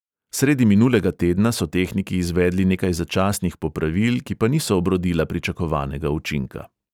Sredi minulega tedna so tehniki izvedli nekaj začasnih popravil, ki pa niso obrodila pričakovanega učinka.